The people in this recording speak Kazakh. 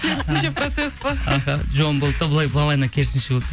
керісінші процесс пе аха жуан болды да былай нормально керісінше болды